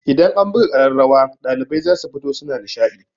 Idan an buga ƙararrawa ɗalibai zasu fito suna nishaɗi.